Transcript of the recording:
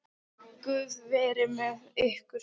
Guð veri með ykkur.